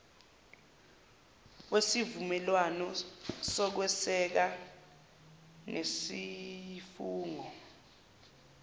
wesivumelwane sokweseka nesifungo